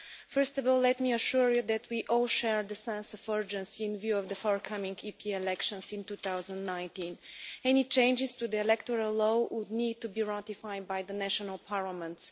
First of all, let me assure you that we all share the sense of urgency in view of the forthcoming EP elections in 2019. Any changes to the electoral law would need to be ratified by the national parliaments.